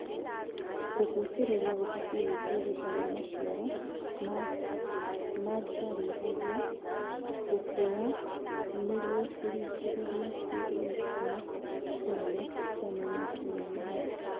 Kũhũtĩrĩria gũbatie gwĩkwo ihinda rĩrĩa maciaro manjarĩria gũkũra nĩguo kũrigĩrĩria kĩruru kĩnene kĩa mĩmera ĩrĩa mĩhande